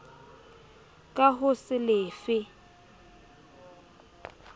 ka ho se le fe